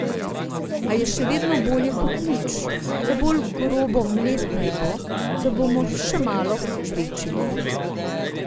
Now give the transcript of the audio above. A je še vedno bolje kot nič, le bolj grobo mlet naj bo, da bomo še malo žvečili.